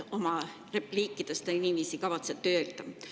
Oma repliikides te niiviisi kavatsete öelda.